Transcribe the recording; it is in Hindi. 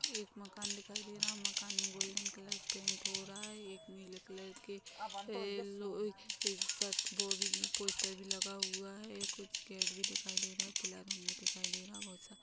मकान दिखाई दे रहा है मकान गोल्डेन कलर पेन्ट हो रहा है एक नीले कलर के येल्लो ये स दो पोस्टर भी लगा हुआ है ये कुछ गेट भी दिखाई दे रहा है पीला रंग भी दिखाई दे रहा है बहोत सारे--